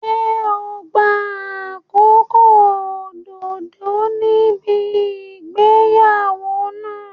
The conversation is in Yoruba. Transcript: Ṣé ò ń gba àkókò òdodo níbi ìgbéyàwó náà?